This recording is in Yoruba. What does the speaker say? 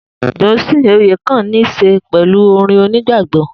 Dunsin oyekan ni se pẹlú orin onigbagbọ